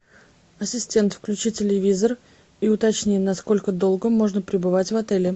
ассистент включи телевизор и уточни насколько долго можно пребывать в отеле